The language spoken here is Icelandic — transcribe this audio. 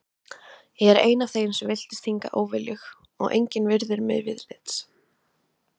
Ég er ein af þeim sem villtist hingað óviljug og engin virðir mig viðlits.